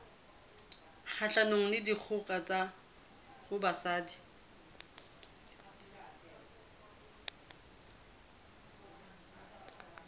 kgahlanong le dikgoka ho basadi